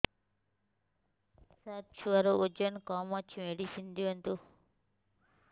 ସାର ଛୁଆର ଓଜନ କମ ଅଛି ମେଡିସିନ ଦିଅନ୍ତୁ